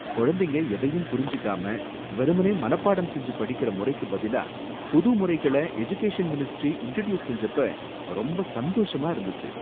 குழந்தைங்க எதையும் புரிஞ்சுக்காம வெறுமனே மனப்பாடம் செஞ்சு படிக்கிற முறைக்கு பதிலா புது முறைகள எடுகேஷன் மினிஸ்ட்ரி இன்ட்ரடியூஸ் செஞ்சப்ப ரொம்ப சந்தோஷமா இருந்துச்சு.